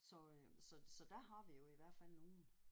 Så øh så så der har vi jo i hvert fald nogle